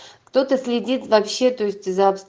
кто-то следит вообще-то есть